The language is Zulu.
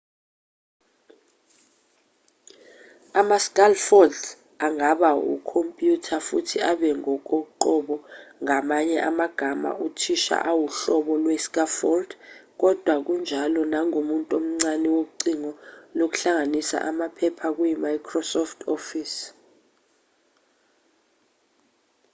ama-scaffolds angaba wekhompyutha futhi abe ngokoqobo ngamanye amagama uthisha uwuhlobo lwe-scaffold kodwa kunjalo nangomuntu omncane wocingo lokuhlanganisa amaphepha kuyi-microsoft office